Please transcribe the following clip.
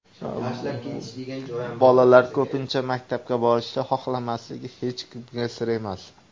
Bolalar ko‘pincha maktabga borishni xohlamasligi hech kimga sir emas.